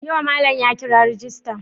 Yau malam ya kira rejista?